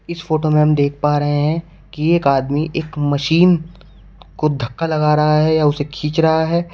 इस फोटो में हम देख पा रहे हैं कि एक आदमी एक मशीन को धक्का लगा रहा है या उसे खींच रहा है।